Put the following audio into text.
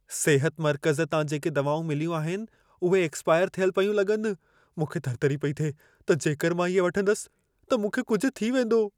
सिहत मर्कज़ तां जेके दवाऊं मिलियूं आहिनि, उहे एक्स्पायर थियल पयूं लॻनि। मूंखे थरथरी पई थिए त जेकर मां इहे वठंदसि, त मूंखे कुझु थी वेंदो।